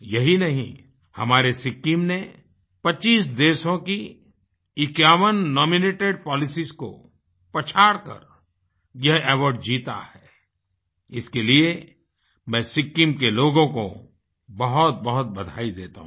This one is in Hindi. यही नहीं हमारे सिक्किम ने 25 देशों की 51 नॉमिनेटेड पॉलिसियों को पछाड़कर यह अवार्ड जीता इसके लिए मैं सिक्किम के लोगों को बहुतबहुत बधाई देता हूँ